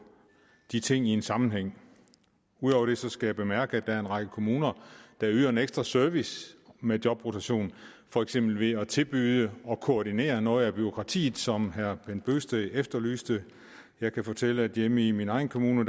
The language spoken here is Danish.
de ting i en sammenhæng ud over det skal jeg bemærke at der er en række kommuner der yder en ekstra service med jobrotation for eksempel ved at tilbyde at koordinere noget af bureaukratiet som herre bent bøgsted efterlyste jeg kan fortælle at hjemme i min egen kommune